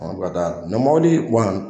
Ɔ bɛ taa ɲɔ moboli